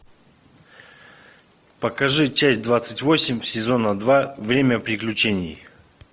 покажи часть двадцать восемь сезона два время приключений